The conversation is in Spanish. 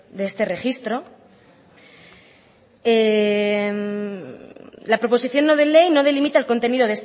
de este registro la proposición no de ley no delimita el contenido